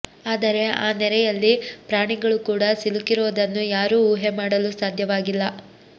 ಆದರೆ ಆ ನೆರೆಯಲ್ಲಿ ಪ್ರಾಣಿಗಳು ಕೂಡ ಸಿಲುಕಿರೋದನ್ನು ಯಾರೂ ಊಹೆ ಮಾಡಲು ಸಾಧ್ಯವಾಗಿಲ್ಲ